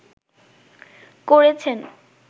করেছেন